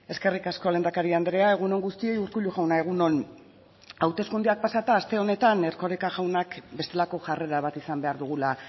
eskerrik asko lehendakari andrea egun on guztioi urkullu jauna egun on hauteskundeak pasata aste honetan erkoreka jaunak bestelako jarrera bat izan behar dugula